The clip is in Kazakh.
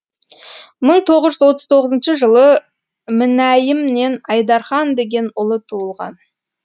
мың тоғыз жүз отыз тоғызыншы жылы мінәйімнен айдархан деген ұлы туылған